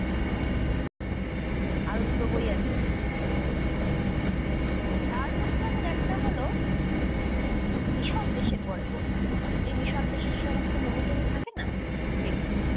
আরও দুটো বই আছে। তার মধ্যে আবার একটা হল, মিশর দেশের গল্প। এই মিশর দেশের যে সমস্ত মমি-টমি থাকে না সেগুলো।